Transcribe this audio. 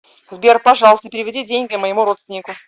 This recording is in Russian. сбер пожалуйста переведи деньги моему родственнику